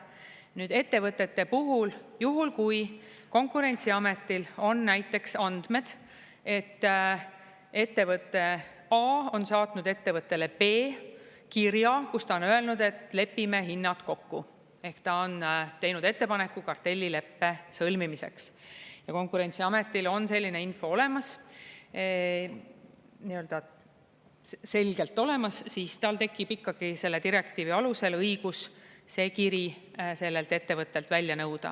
Nüüd, ettevõtete puhul, juhul kui Konkurentsiametil on näiteks andmed, et ettevõte A on saatnud ettevõttele B kirja, kus ta on öelnud, et lepime hinnad kokku, ehk ta on teinud ettepaneku kartellileppe sõlmimiseks ja Konkurentsiametil on selline info olemas, nii-öelda selgelt olemas, siis tal tekib ikkagi selle direktiivi alusel õigus see kiri sellelt ettevõttelt välja nõuda.